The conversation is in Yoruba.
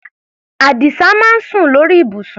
Àdìsá máa ń sùn lórí ibùsùn.